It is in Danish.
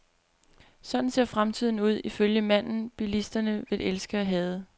Sådan ser fremtiden ud, ifølge manden bilisterne vil elske at hade.